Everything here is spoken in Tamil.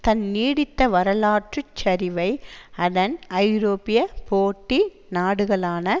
தன் நீடித்த வரலாற்று சரிவை அதன் ஐரோப்பிய போட்டி நாடுகளான